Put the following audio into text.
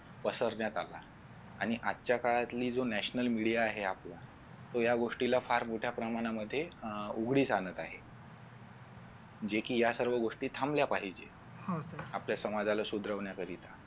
पसरण्यात आला आणि आजच्या काळातील जो national media आहे आपला तो या गोष्टीला फार मोठ्या प्रमाणामध्ये अह उघडीस आणत आहे जे कि ह्या सर्व गोष्टी थांबल्या पाहिजे आपल्या समाजाला सुधरवण्यासाठी